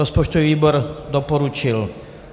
Rozpočtový výbor doporučil.